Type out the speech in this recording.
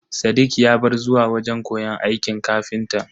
Sadiq ya bar zuwa wajen koyon aikin ƙafintan.